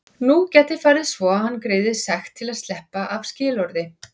Nú gæti farið svo að hann greiði sekt til að sleppa af skilorði.